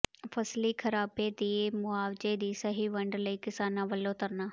ਫ਼ਸਲੀ ਖ਼ਰਾਬੇ ਦੇ ਮੁਆਵਜ਼ੇ ਦੀ ਸਹੀ ਵੰਡ ਲਈ ਕਿਸਾਨਾਂ ਵੱਲੋਂ ਧਰਨਾ